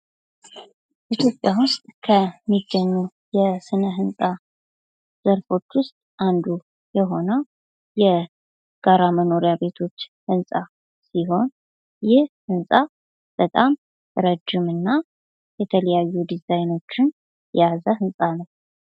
ኢትዮጵያ ዉስጥ ከሚገኙ የስነ ህንጻ ዘርፎች ዉስጥ አንዱ የሆነው የጋራ መኖሪያ ቤቶች ህንጻ ሲሆን ይህ ህንጻ በጣም ረጅም እና የተለያዩ ዲዛይኖችን የያዘ ህንጻ ነው።